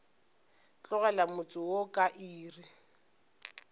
tlogela motse wo ka iri